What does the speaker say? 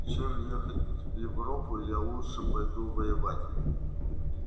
чем ехать в европу я лучше пойду воевать